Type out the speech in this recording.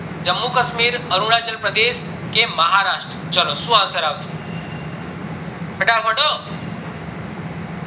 જમ્મુ કાશ્મીર અરુણાચલ પ્રદેશ કે મહારાષ્ટ્ર ચાલો શું answer આવશે ફટાફટ હો